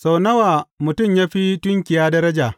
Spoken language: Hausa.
Sau nawa mutum ya fi tunkiya daraja!